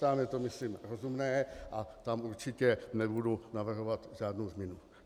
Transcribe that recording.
Tam je to, myslím, rozumné a tam určitě nebudu navrhovat žádnou změnu.